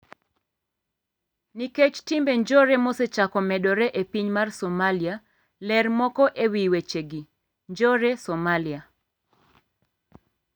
nikech timbe njore mosechako medore e piny mar Somalia. Ler moko ewi wechegi. Njore Somalia.